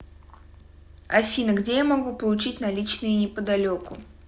афина где я могу получить наличные неподалеку